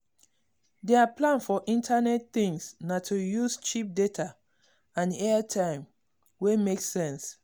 der plan for internet things na to use cheap data and airtime wey make sense.